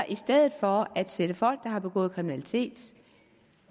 i stedet for at sætte folk der har begået kriminalitet